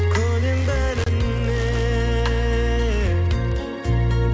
көнем бәріне